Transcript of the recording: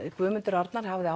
Guðmundur Arnar ég hafði